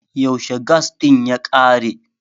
yaushe gas din ya kare?